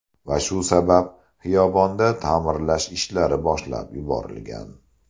Va shu sabab xiyobonda ta’mirlash ishlari boshlab yuborilgan.